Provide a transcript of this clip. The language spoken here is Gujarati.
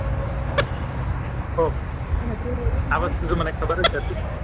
ઓહ આ વસ્તુ જો મને ખબર જ હતી